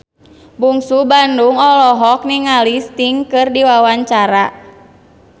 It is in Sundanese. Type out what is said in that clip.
Bungsu Bandung olohok ningali Sting keur diwawancara